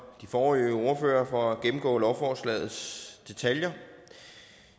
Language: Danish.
de forrige ordførere for at gennemgå lovforslagets detaljer